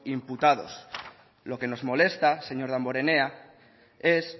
imputados lo que nos molesta señor damborenea es